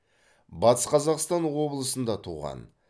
батыс қазақстан облысында туған